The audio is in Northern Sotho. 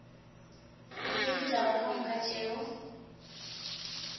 gomme ditaba ka moka tšeo